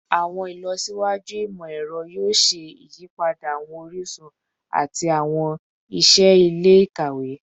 Awọn ilọsiwaju imọ-ẹrọ yoo ṣe iyipada awọn orisun ati awọn iṣẹ ile-ikawe